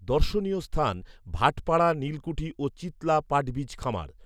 দর্শনীয় স্থান ভাটপাড়া নীলকুঠি ও চিৎলা পাটবীজ খামার